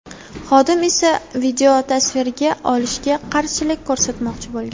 Xodim esa videotasvirga olishiga qarshilik ko‘rsatmoqchi bo‘lgan.